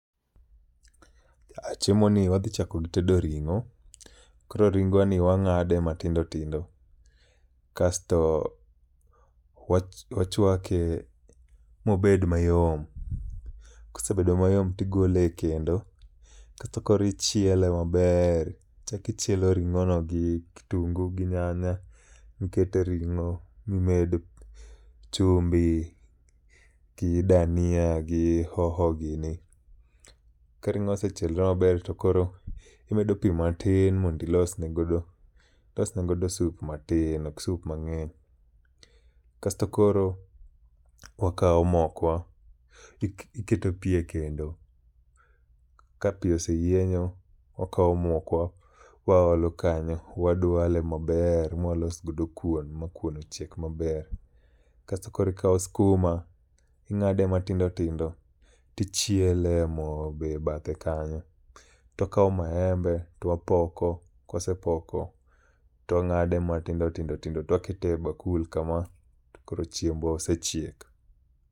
A chiemo ni wadhi chako gi tedo ringo, koro ringwa ni wang'ade matindo tindo kasto wachwake mobed mayom. Kosebedo mayom tigole e kendo, kasto koro ichiele maber, ichakichielo ring'o no gi kitungu gi nyanya ikete ring'o mimed chumbi gi dania gi hoho gini. Ka ring'o osechielo maber to koro imedo pi matin mondilosne godo sup matin, ok sup mang'eny. Kasto koro wakawo mokwa, iketo pi e kendo. Ka pi oseyienyo wakawo mokwa waolo kanyo, wadwale maber mawalosgodo kuon ma kuon ochiek maber. Kasto korikawo skuma, ing'ade matindo tindo tichiele e mo be e bathe kanyo. To kawo maembe, towapoko, kwasepoko twang'ade matindo tindo tindo, towakete e bakul kama to koro chiembwa osechiek.